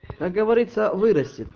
как говориться вырастит